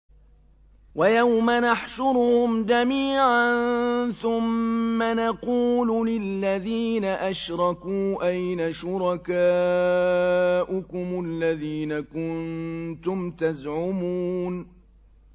وَيَوْمَ نَحْشُرُهُمْ جَمِيعًا ثُمَّ نَقُولُ لِلَّذِينَ أَشْرَكُوا أَيْنَ شُرَكَاؤُكُمُ الَّذِينَ كُنتُمْ تَزْعُمُونَ